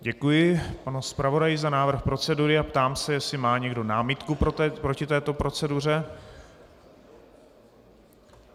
Děkuji panu zpravodaji za návrh procedury a ptám se, jestli má někdo námitku proti této proceduře.